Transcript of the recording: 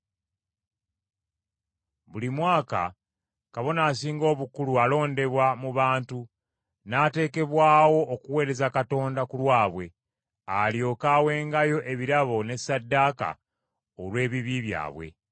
Buli Kabona Asinga Obukulu alondebwa mu bantu n’ateekebwawo okuweereza Katonda ku lwabwe, alyoke awengayo ebirabo n’essaddaaka olw’ebibi byabwe.